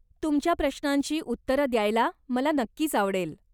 तुमच्या प्रश्नांची उत्तरं द्यायला मला नक्कीच आवडेल.